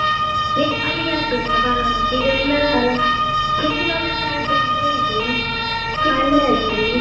ಅಲ್ಲಿಗೆ ಆಗ್ಬೋದಲ್ಲಾ ಬಾಲವನಕ್ಕೆ ಈಗ ಹೆಚ್ಚಿನವರು ಅಲ್ಲೇ ಆಗಬೋದು ಅಂತಾ ಹೇಳಿದ್ರು ನಿಂಗೆ okay ಅಲ್ಲಿ?